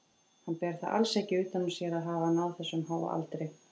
Hann ber það alls ekki utan á sér að hafa náð þessum háa aldri.